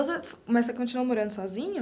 Mas você continuou morando sozinho?